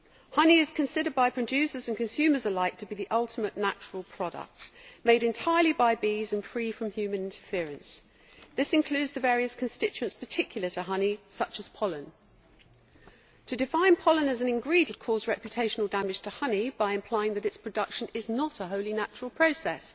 Honey is considered by producers and consumers alike to be the ultimate natural product, made entirely by bees and free from human interference. This includes the various constituents particular to honey, such as pollen. To define pollen as an ingredient would cause reputational damage to honey by implying that its production is not a wholly natural process.